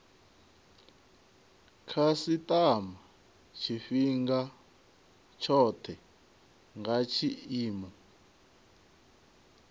khasitama tshifhinga tshothe nga tshiimo